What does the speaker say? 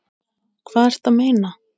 Hvað ertu að meina?